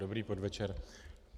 Dobrý podvečer.